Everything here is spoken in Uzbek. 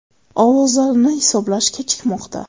Ovozlarni hisoblash kechikmoqda.